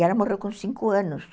E ela morreu com cinco anos.